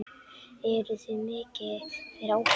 Eruð þið mikið fyrir áfengi?